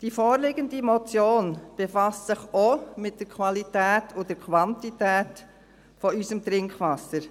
Die vorliegende Motion befasst sich auch mit der Qualität und Quantität unseres Trinkwassers.